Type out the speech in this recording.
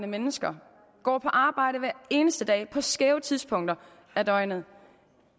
mennesker går på arbejde hver eneste dag på skæve tidspunkter af døgnet